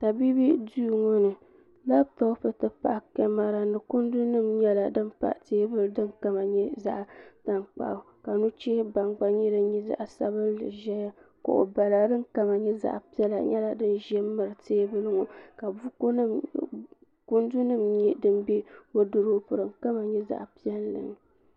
tabiibi duu ŋɔ ni labtop ti pahi kamɛra ni kundi nim nyɛla din pa teebuli din kama nyɛ zaɣ tankpaɣu ka nuchɛ baŋ gba nyɛ din nyɛ zaɣ sabinli ʒɛya kuɣu bala din kama nyɛ zaɣ piɛlli nyɛla din ʒɛ n miri teebuli ŋɔ ka kundu nim nyɛ din bɛ woodurop din kama nyɛ zaɣ piɛlli ni